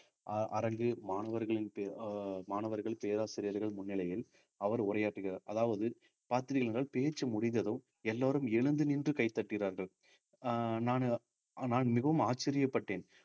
அஹ் அரங்கு மாணவர்களின் பே~ அஹ் மாணவர்கள் பேராசிரியர்கள் முன்னிலையில் அவர் உரையாற்றுகிறார் அதாவது பார்த்தீர்கள் என்றால் பேச்சு முடிந்ததும் எல்லாரும் எழுந்து நின்று கை தட்டினார்கள் அஹ் நானு நான் மிகவும் ஆச்சரியப்பட்டேன்